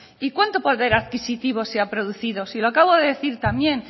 y cuánto poder adquisitivo se ha producido si lo acabo de decir también